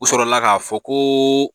U sɔrɔla k'a fɔ ko.